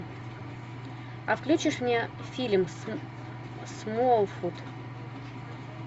а включишь мне фильм смолфут